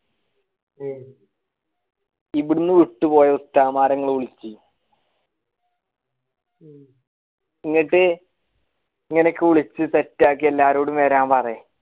ഇവിടുന്ന് വിട്ടു പോയ ഉസ്താദ് മാരെ വിലക്കി എന്നിട്ട് വിളിച്ചു set ആക്കി എല്ലാരിടും വരാൻ പറഞ്ഞി